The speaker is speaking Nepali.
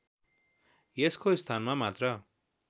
यसको स्थानमा मात्र